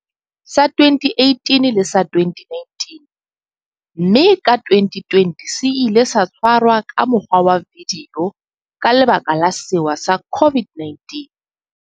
Sa 2018 le sa 2019, mme ka 2020 se ile sa tshwarwa ka mokgwa wa vidio ka lebaka la sewa sa COVID-19.